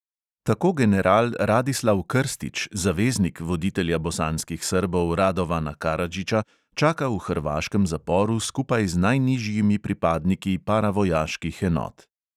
Tako general radislav krstič, zaveznik voditelja bosanskih srbov radovana karadžiča, čaka v hrvaškem zaporu skupaj z najnižjimi pripadniki paravojaških enot.